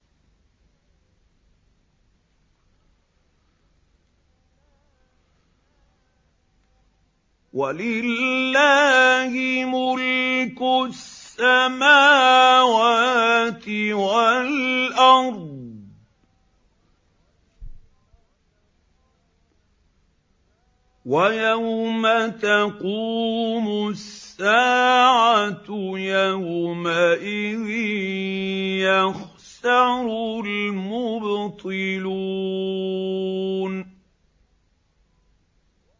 وَلِلَّهِ مُلْكُ السَّمَاوَاتِ وَالْأَرْضِ ۚ وَيَوْمَ تَقُومُ السَّاعَةُ يَوْمَئِذٍ يَخْسَرُ الْمُبْطِلُونَ